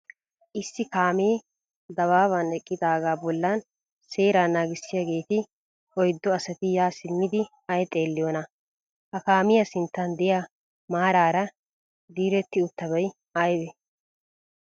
Issi kaamee dabaaban eqqaagaa bollan seeraa naagissiyaageeti oyiddu asati yaa simmidi ay xeelliyoonaa? Ha kaamiyaa sinttan diya maaraara diretti uttabay ayibee?